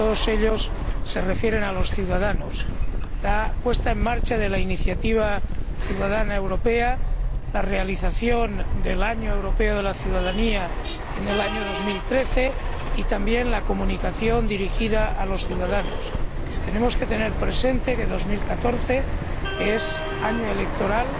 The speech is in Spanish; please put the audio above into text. Todos ellos se refieren a los ciudadanos la puesta en marcha de la Iniciativa Ciudadana Europea, la realización del Año Europeo de la Ciudadanía en 2013 y también la Comunicación dirigida a los ciudadanos. Debemos tener presente que 2014 es año electoral